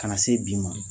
Ka na se bi ma